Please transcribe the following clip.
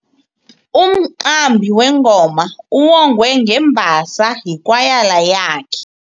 Umqambi wengoma uwongwe ngembasa yikwayala yakhe.